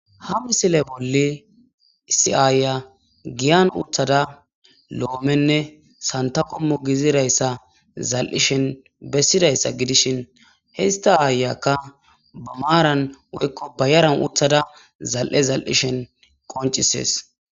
ha misile bolli isi'aaya giyan uthada lo'omenne santakommo gizidayssa zal'ishen bessidayssa gidishin hista aayakka ba maaran woykko bayaran uthada zal'e zal'ishen qoncisees.